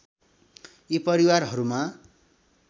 यी परिवारहरूमा